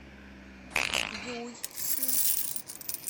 юйси